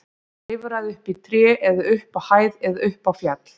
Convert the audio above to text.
Klifraðu upp í tré eða upp á hæð eða upp á fjall.